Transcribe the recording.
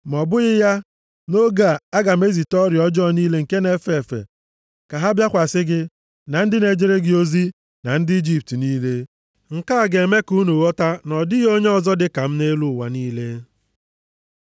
Ma ọ bụghị ya, nʼoge a, aga m ezite ọrịa ọjọọ niile nke na-efe efe, ka ha bịakwasị gị, na ndị na-ejere gị ozi, na ndị Ijipt niile. Nke a ga-eme ka unu ghọta na ọ dịghị Onye ọzọ dịka m nʼelu ụwa niile.